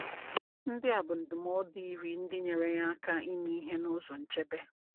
Ndị a bụ ndụmọdụ iri ndị nyere ya aka ime ihe n’ụzọ nchebe.